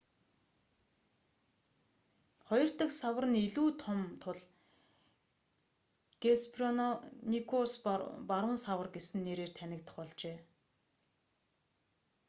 хоёр дахь савар нь илүү том тул геспероникус баруун савар гэсэн нэрээр танигдах болжээ